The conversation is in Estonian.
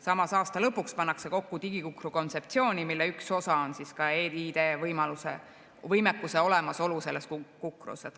Samas, aasta lõpuks pannakse kokku digikukru kontseptsiooni, mille üks osa on ka e-ID-võimekuse olemasolu selles kukrus.